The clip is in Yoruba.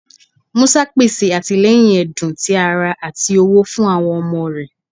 Musa pese atilẹyin ẹdun, ti ara, ati owo fun awọn ọmọ rẹ.